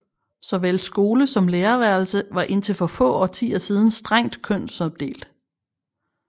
Såvel skole som lærerværelse var indtil for få årtier siden strengt kønsopdelte